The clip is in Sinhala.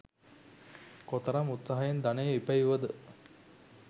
කොතරම් උත්සාහයෙන් ධනය ඉපැයුවද